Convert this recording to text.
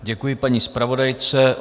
Děkuji paní zpravodajce.